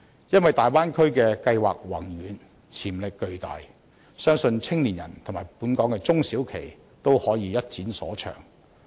因為大灣區計劃宏遠、潛力巨大，相信年青人及本港中小企均可以一展所長。